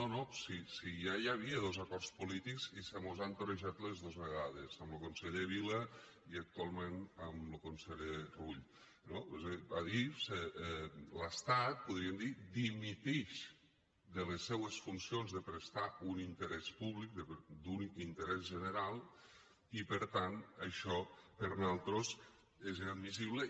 no no si ja hi havia dos acords polítics i se mos han torejat les dos vegades amb lo conseller vila i actualment amb lo conseller rull no és a dir adif l’estat podríem dir dimitix de les seues funcions de prestar un interès públic d’un interès general i per tant això per nosaltres és inadmissible